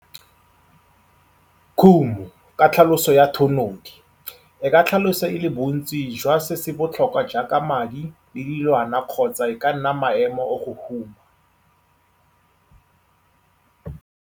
Khumo, ka tlhaloso ya thanodi, e ka tlhaloswa e le bontsi jwa se se botlhokwa jaaka madi le dilwana kgotsa e ka nna maemo o go huma.